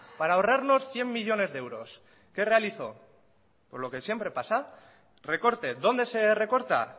para ahorrarnos cien millónes de euros qué realizó pues lo que siempre pasa recorte dónde se recorta